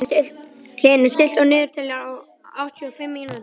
Hlynur, stilltu niðurteljara á áttatíu og fimm mínútur.